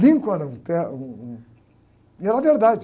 era um ter, um, um... E era verdade.